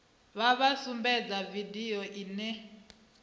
vha vha sumbedze vidio ine